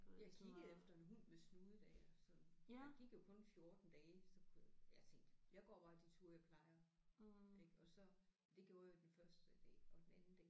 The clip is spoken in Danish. Jeg kiggede efter en hund med snude da jeg sådan der gik jo kun 14 dage så kunne jeg jeg tænkte jeg går bare de ture jeg plejer ik og så det gjorde jeg den første dag og den anden dag